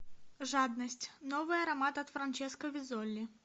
жадность новый аромат от франческо веззоли